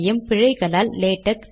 compile செய்கிறேன்